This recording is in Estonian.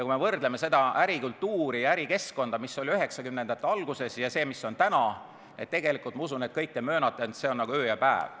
Kui me võrdleme seda ärikultuuri ja ärikeskkonda, mis oli üheksakümnendate alguses, sellega, mis on täna, siis ma usun, et kõik te möönate, et see on nagu öö ja päev.